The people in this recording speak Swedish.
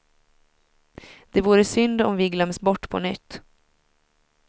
Det vore synd om vi glöms bort på nytt.